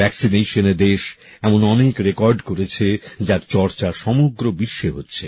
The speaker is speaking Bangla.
টিকাকরণে দেশ এমন অনেক রেকর্ড করেছে যার চর্চা সমগ্র বিশ্বে হচ্ছে